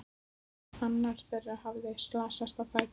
Annar þeirra hafði slasast á fæti.